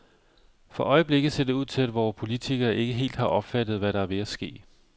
For øjeblikket ser det ud til, at vore politikere ikke helt har opfattet, hvad der er ved at ske.